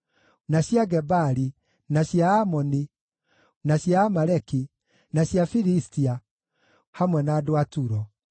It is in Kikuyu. na cia Gebali, na cia Amoni, na cia Amaleki, na cia Filistia, hamwe na andũ a Turo.